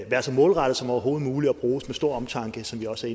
være så målrettede som overhovedet muligt og bruges med stor omtanke som vi også